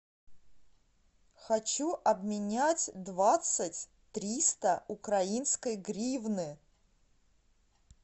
хочу обменять двадцать триста украинской гривны